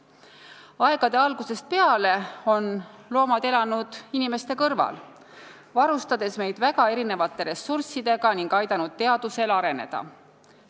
Aegade algusest peale on loomad elanud inimeste kõrval, varustades meid väga erinevate ressurssidega ning aidanud teadusel areneda.